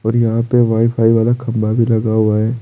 और यहां पे वाईफाई वाला खंबा भी लगा हुआ है।